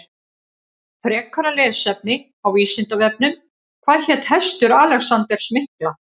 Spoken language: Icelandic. Frekara lesefni á Vísindavefnum Hvað hét hestur Alexanders mikla?